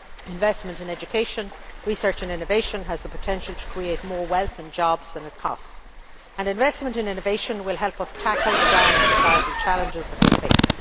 Investment in education, research and innovation has the potential to create more wealth and jobs than it costs, and investment in innovation will help us tackle the great challenges that society faces.